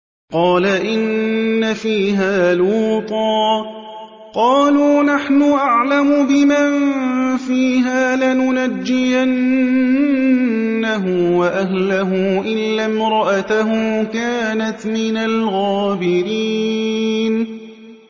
قَالَ إِنَّ فِيهَا لُوطًا ۚ قَالُوا نَحْنُ أَعْلَمُ بِمَن فِيهَا ۖ لَنُنَجِّيَنَّهُ وَأَهْلَهُ إِلَّا امْرَأَتَهُ كَانَتْ مِنَ الْغَابِرِينَ